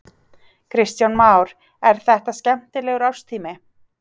Kristján Már: Er þetta skemmtilegur árstími?